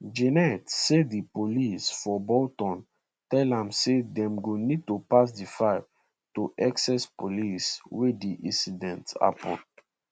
janet say di police for bolton tell am say dem go need to pass di file to essex police wia di incident hapun